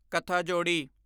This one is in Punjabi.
ਕਥਾਜੋੜੀ